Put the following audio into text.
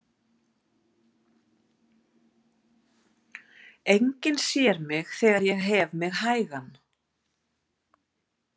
Enginn sér mig þegar ég hef mig hægan.